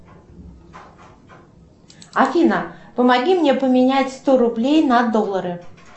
афина помоги мне поменять сто рублей на доллары